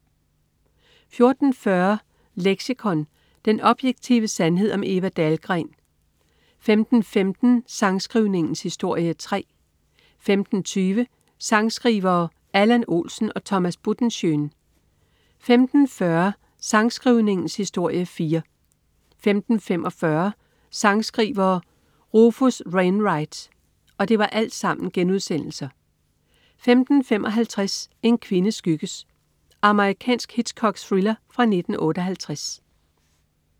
14.40 Leksikon. Den objektive sandhed om Eva Dahlgren* 15.15 Sangskrivningens historie 3* 15.20 Sangskrivere: Allan Olsen og Thomas Buttenschön* 15.40 Sangskrivningens historie 4* 15.45 Sangskrivere: Rufus Wainwright* 15.55 En kvinde skygges. Amerikansk Hitchcock-thriller fra 1958